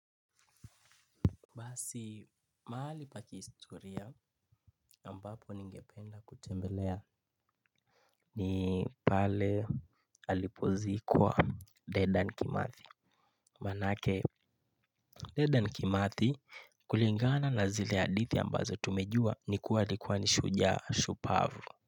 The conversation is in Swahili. Basi mahali pa kihistoria ambapo ningependa kutembelea ni pale alipozikwa Dedan Kimathi. Maanake Dedan Kimathi kulingana na zile hadithi ambazo tumejua ni kuwa alikuwa ni shujaa shupavu.